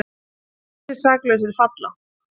Fleiri saklausir falla